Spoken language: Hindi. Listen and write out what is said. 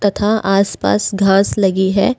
तथा आसपास घास लगी है।